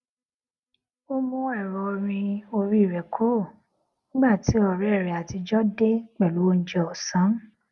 ó mú èrọ orin orí rè kúrò nígbà tí òré rè àtijó dé pèlú oúnjẹ òsán